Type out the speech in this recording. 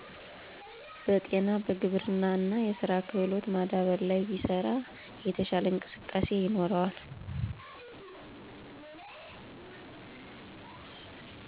በጤና በግብርና እና የስራ ክህሎት ማዳበር ላይ ቢሰራ የተሻለ እንቅስቃሴ ይኖራል